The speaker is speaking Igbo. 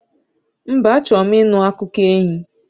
Mba, achọrọ m ịnụ akụkọ enyi